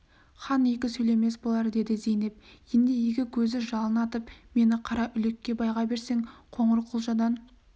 хан екі сөйлемес болар деді зейнеп енді екі көзі жалын атып мені қараүлекке байға берсең қоңырқұлжадан